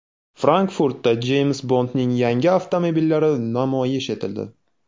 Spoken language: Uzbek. Frankfurtda Jeyms Bondning yangi avtomobillari namoyish etildi.